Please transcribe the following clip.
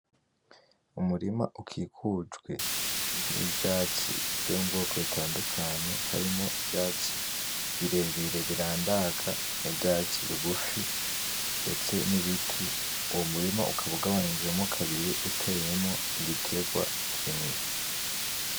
Umurima ukikujwe n'ivyatsi vyo mu bwoko bitandukanye harimwo ivyatsi birebire birandaga, n'ivyatsi bigufi ,ndetse n'ibiti uwo murima ukaba ugabanijemwo kabiri uteyemwo igitegwa kimwe.